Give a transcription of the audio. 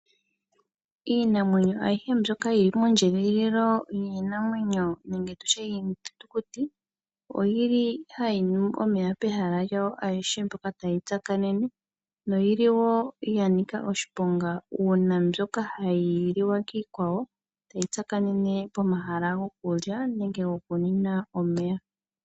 Iinamwenyo ayihe mbyoka yili moondjedhililo dhiinamwenyo nenge yiithitukuti oyili hayi nu omeya pehala lyawo ayihe mpoka tayi tsakanene noyili woo yanika oshiponga uuna mbyoka hayi liwa kiikwawo tayi tsakanena pehala lyokulya nenge lyokunwa omeya.